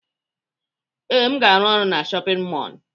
Ee, aga m arụ ọrụ na shọpịn mọọlụ.